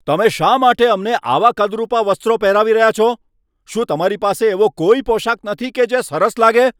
તમે શા માટે અમને આવાં કદરૂપાં વસ્ત્રો પહેરાવી રહ્યા છો? શું તમારી પાસે એવો કોઈ પોશાક નથી કે જે સરસ લાગે?